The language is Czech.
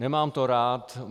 Nemám to rád.